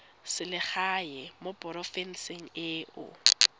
selegae mo porofenseng e o